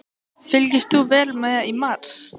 Fylgdist þú vel með í mars?